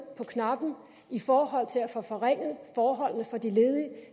på knappen i forhold til at få forringet forholdene for de ledige